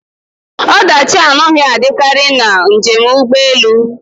Ọdachi anaghị adịkarị na njem ụgbọ elu